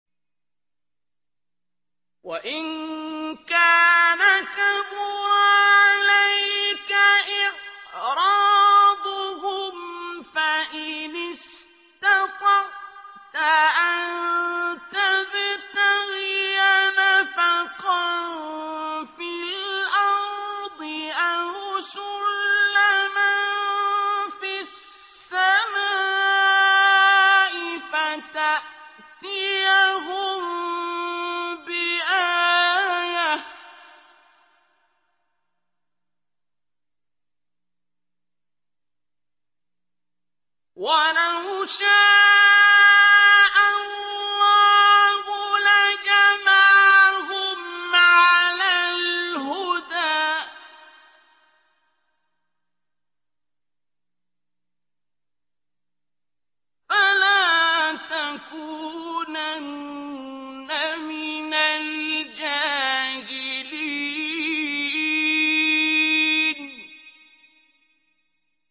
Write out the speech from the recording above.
وَإِن كَانَ كَبُرَ عَلَيْكَ إِعْرَاضُهُمْ فَإِنِ اسْتَطَعْتَ أَن تَبْتَغِيَ نَفَقًا فِي الْأَرْضِ أَوْ سُلَّمًا فِي السَّمَاءِ فَتَأْتِيَهُم بِآيَةٍ ۚ وَلَوْ شَاءَ اللَّهُ لَجَمَعَهُمْ عَلَى الْهُدَىٰ ۚ فَلَا تَكُونَنَّ مِنَ الْجَاهِلِينَ